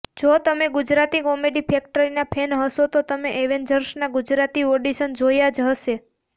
જો તમે કોમેડી ફેક્ટરીના ફૅન હશો તો તમે એેવેન્જર્સના ગુજરાતી ઓડીશન જોયા જ હશે